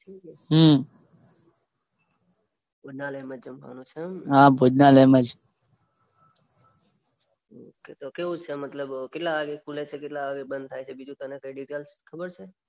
ભોજનાલાય માંજ જમવાનું છે એમ ને હા ભોજનાલાય માંજ તો કેવુ છે મતલબ કેટલા વાગે ખૂલે છે કેટલા વાગે બંધ થાય છે બીજું તને કોઈ ડિટેલ્સ ખબર છે